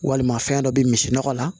Walima fɛn dɔ bɛ misi nɔgɔ la